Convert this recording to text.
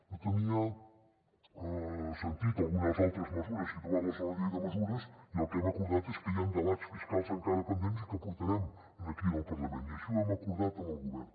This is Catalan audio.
no tenia sentit algunes altres mesures situar les en la llei de mesures i el que hem acordat és que hi han debats fiscals encara pendents i que portarem aquí en el parlament i així ho hem acordat amb el govern